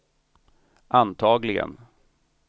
antagligen